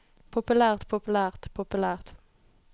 populært populært populært